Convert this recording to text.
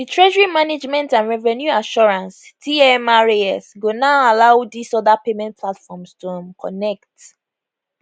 di treasury management and revenue assurance tmras go now allow dis oda payment platforms to um connect